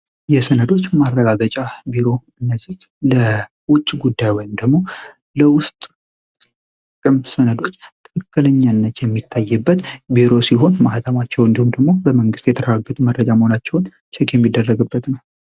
የሰነዶች ማረጋገጫ ቢሮ እነዚህ ለውጭ ጉዳይ ወይም ደግሞ ለውስጥ በሚያስፈልጉበት ጊዜ ትክክለኛነት የሚታይበት ሲሆን ማህተባቸው ወይም ደግሞ በመንግስት ደረጃ የተረጋገጡ መሆናቸውን ቸክ የሚደረግበት ነው።